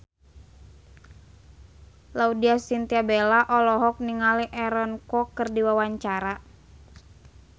Laudya Chintya Bella olohok ningali Aaron Kwok keur diwawancara